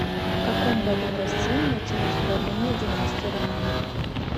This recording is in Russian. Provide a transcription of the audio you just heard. в каком году в россии началось правление династии романовых